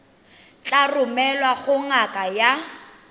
tla romelwa go ngaka ya